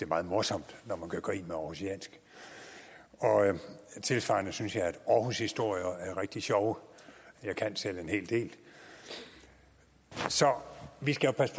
meget morsomt når man gør grin med århusiansk og tilsvarende synes jeg at aarhushistorier er rigtig sjove jeg kan selv en hel del så vi skal jo passe